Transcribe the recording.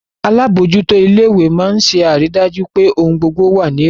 Alábòójútó ilé ìwé máa ń ṣe àrídájú pé ohun gbogbo wà ní ètò